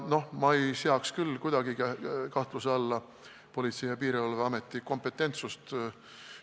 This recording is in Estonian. Ma ei seaks küll kuidagi kahtluse alla Politsei- ja Piirivalveameti kompetentsust.